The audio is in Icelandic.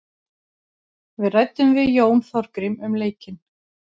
Við ræddum við Jón Þorgrím um leikinn.